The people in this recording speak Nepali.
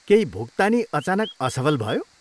केही भुक्तानी अचानक असफल भयो?